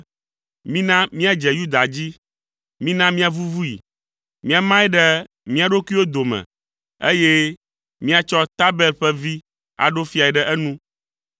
“Mina míadze Yuda dzi; mina míavuvui, míamae ɖe mía ɖokuiwo dome, eye míatsɔ Tabel ƒe vi aɖo fiae ɖe enu.”